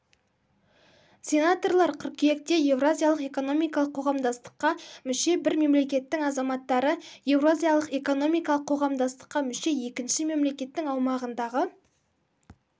сенаторлар қыркүйекте еуразиялық экономикалық қоғамдастыққа мүше бір мемлекеттің азаматтары еуразиялық экономикалық қоғамдастыққа мүше екінші мемлекеттің аумағындағы